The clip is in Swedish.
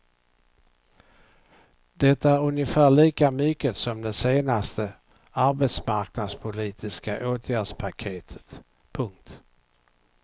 Det är ungefär lika mycket som det senaste arbetsmarknadspolitiska åtgärdspaketet. punkt